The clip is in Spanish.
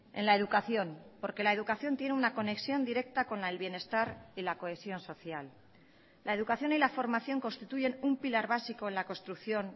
en la educación porque la educación tiene una conexión directa con el bienestar y la cohesión social la educación y la formación constituyen un pilar básico en la construcción